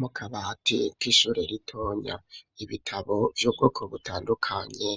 Mu kabati k'ishure ritonya, ibitabo vy'ubwoko butandukanye